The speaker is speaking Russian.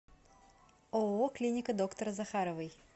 ооо клиника доктора захаровой